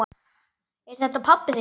Er þetta pabbi þinn?